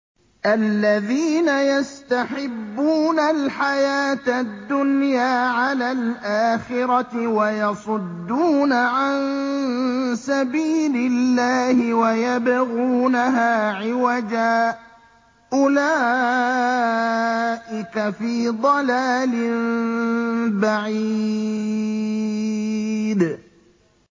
الَّذِينَ يَسْتَحِبُّونَ الْحَيَاةَ الدُّنْيَا عَلَى الْآخِرَةِ وَيَصُدُّونَ عَن سَبِيلِ اللَّهِ وَيَبْغُونَهَا عِوَجًا ۚ أُولَٰئِكَ فِي ضَلَالٍ بَعِيدٍ